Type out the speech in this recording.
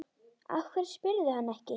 Af hverju spyrðu hann ekki?